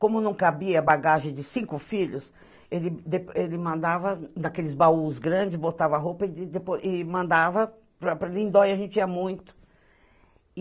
Como não cabia bagagem de cinco filhos, ele de ele mandava daqueles baús grandes, botava roupa e e depois e mandava para para Lindóia, a gente ia muito.